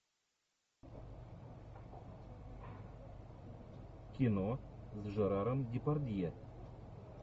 кино с жераром депардье